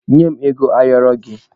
Nye m ego ayọrị gị!